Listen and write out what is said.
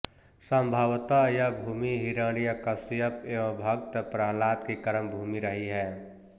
सम्भवतः यह भूमि हिरण्यकश्यप व भक्त प्रहलाद की कर्म भूमि रही है